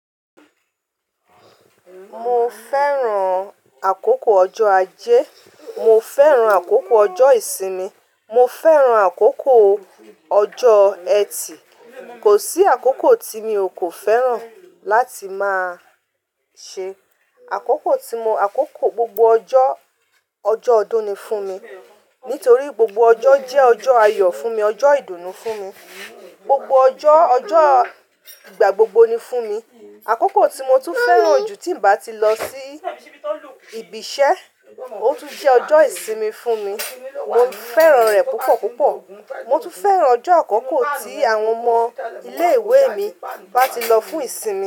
Mo fẹ́ràn àkókò ọjọ́ Ajé, mo fẹ́ràn àkókò ọjọ́ ìsinmi, mo fẹ́ràn àkókò ọjọ́ ẹtì. Kò sí àkókò tí mi ò kò fẹ́ràn láti máa ṣe. Àkókò tí mo àkókò gbogbo ọjọ́, ọjọ́ ọdún ni fún mi. Nítorí gbogbo ọjọ́ jẹ́ ọjọ́ ayọ̀ fún mi, ọjọ́ ìdùnnú fún mi. Gbogbo ọjọ́, ọjọ́ ìgbà gbogbo ni fún mi. Àkókò tí mo tún fẹ́ràn jù tí ń bá ti lọ sí ibi iṣẹ́, ó tún jẹ́ ọjọ́ ìsinmi fún mi. Mo fẹ́ràn rẹ̀ púpọ̀ púpọ̀. Mo tún fẹ́ràn ọjọ́ àkókò tí àwọn ọmọ ilé ìwé mi bá ti lọ fún ìsinmi.